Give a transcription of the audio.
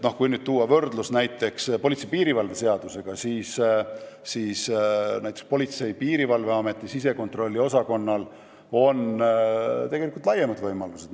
Kui võrrelda politsei ja piirivalve seadusega, siis Politsei- ja Piirivalveameti sisekontrolli osakonnal on laiemad võimalused.